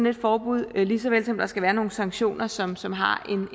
et forbud lige så vel som der skal være nogle sanktioner som som har